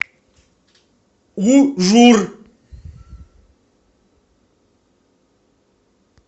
ужур